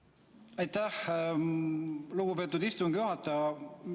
Aitäh, lugupeetud istungi juhataja!